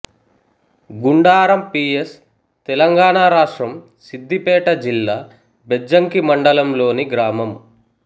Gundaram P S Telangana రాష్ట్రంసిద్ధిపేట జిల్లా బెజ్జంకి మండలంలోని గ్రామం